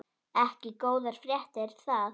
Ekki góðar fréttir það.